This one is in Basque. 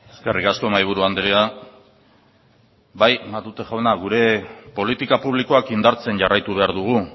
eskerrik asko mahaiburu andrea bai matute jauna gure politika publikoak indartzen jarraitu behar dugu